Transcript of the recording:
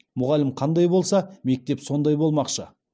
мұғалім қандай болса мектеп сондай болмақшы